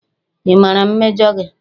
Ị maara mmejọ gị?